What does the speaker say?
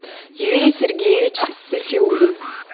юрий сергеевич сафиулин